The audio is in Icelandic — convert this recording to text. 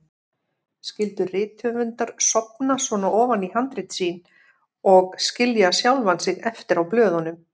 Skyldu rithöfundar sofna svona ofan í handrit sín og skilja sjálfa sig eftir á blöðunum?